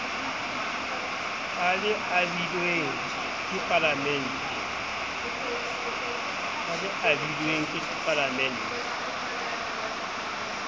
a le abilweng ke palamente